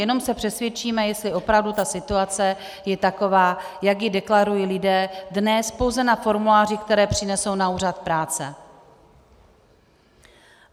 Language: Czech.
Jenom se přesvědčíme, jestli opravdu ta situace je taková, jak ji deklarují lidé dnes pouze na formulářích, které přinesou na úřad práce.